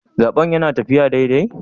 Zaben yana taffiya daidai?